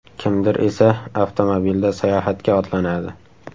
Kimdir esa avtomobilda sayohatga otlanadi.